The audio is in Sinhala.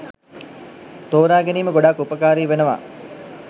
තෝරාගැනීම ගොඩාක් උපකාරී වෙනවා.